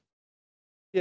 ég